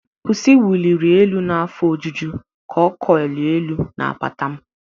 1.pusi wuliri elu n'afọ ojuju ka ọ curls elu n'apata m.